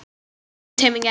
Heldur í tauminn gæfa.